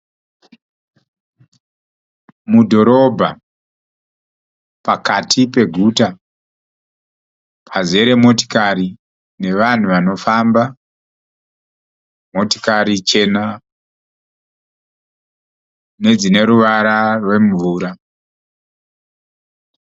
Mudhorobha, pakati peguta pazere motikari nevanhu vanofamba. Motikari chena nedzine ruvara rwemvura